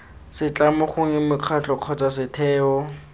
setlamo gongwe mokgatlho kgotsa setheo